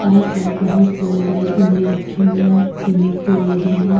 आसपास बहोत बड़े बड़े गमले रखे हुए है जिनमे फूल लगे हैं।